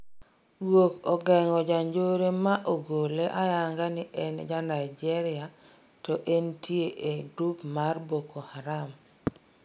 Guok ogeng'o janjore ma ogole ayanga ni en ja Nigeria to entie ee grup mar Boko Haram